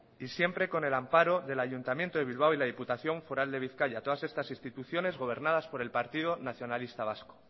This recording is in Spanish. y siempre con el amparo del ayuntamiento de bilbao y la diputación foral de bizkaia todas estas instituciones gobernadas por el partido nacionalista vasco